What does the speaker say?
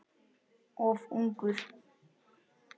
Of ungur.